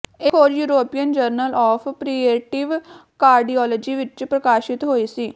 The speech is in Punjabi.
ਇਹ ਖੋਜ European Journal of Preventive Cardiology ਵਿੱਚ ਪ੍ਰਕਾਸ਼ਤ ਹੋਈ ਸੀ